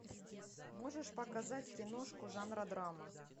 можешь показать киношку жанра драма